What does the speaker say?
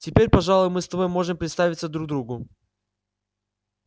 теперь пожалуй мы с тобой можем представиться друг другу